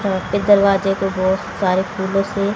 यहां पे दरवाजे को बहोत सारे फूलों से--